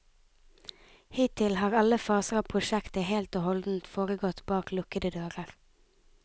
Hittil har alle faser av prosjektet helt og holdent foregått bak lukkede dører.